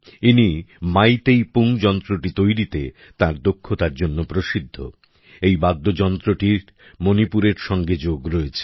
ইনি মাইতেই পুং যন্ত্রটি তৈরিতে তার দক্ষতার জন্য প্রসিদ্ধ এই বাদ্যযন্ত্রটির মনিপুরের সঙ্গে যোগ আছে